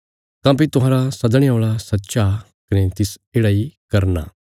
काँह्भई तुहांरा सदणे औल़ा सच्चा कने तिस येढ़ा इ करना